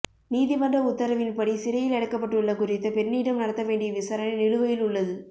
நீதிமன்ற உத்தரவின்படி சிறையில் அடைக்கப்பட்டுள்ள குறித்த பெண்ணிடம் நடத்த வேண்டிய விசாரணை நிலுவையில் உள்ளது